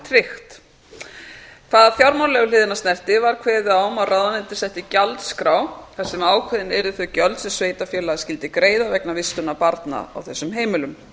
tryggt hvað fjármálalegu hliðina snerti var kveðið á um að ráðuneytið setti gjaldskrá þar sem ákveðin yrðu þau gjöld sem sveitarfélagið skyldi greiða vegna vistunar barna á þessum heimilum